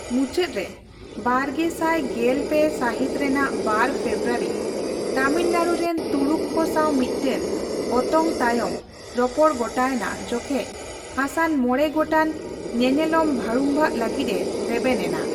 ᱢᱩᱪᱟᱹᱫ ᱨᱮ ᱵᱟᱨᱜᱮᱥᱟᱭ ᱜᱮᱞ ᱯᱮ ᱥᱟᱹᱦᱤᱛ ᱨᱮᱱᱟᱜ ᱵᱟᱨ ᱯᱷᱮᱵᱽᱨᱩᱣᱟᱨᱤ ᱛᱟᱹᱢᱤᱞᱱᱟᱲᱩ ᱨᱮᱱ ᱛᱩᱲᱩᱠ ᱠᱚ ᱥᱟᱣ ᱢᱤᱫᱴᱟᱝ ᱚᱛᱚᱝᱼᱛᱟᱭᱚᱢ ᱨᱚᱯᱚᱲ ᱜᱚᱴᱟ ᱮᱱᱟ, ᱡᱚᱠᱮᱡᱽ ᱦᱟᱥᱟᱱ ᱢᱚᱸᱬᱮ ᱜᱚᱴᱟᱝ ᱧᱮᱞᱮᱞᱚᱢ ᱵᱷᱟᱹᱲᱩᱢᱵᱷᱟᱜᱽ ᱞᱟᱹᱜᱤᱛᱼᱮ ᱨᱮᱵᱮᱱ ᱮᱱᱟ ᱾